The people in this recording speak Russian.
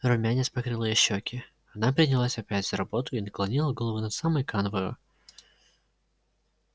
румянец покрыл её щёки она принялась опять за работу и наклонила голову над самой канвою